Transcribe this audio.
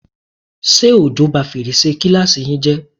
Ṣé òjò bá fèrèsé kíláàsì yín jẹ́?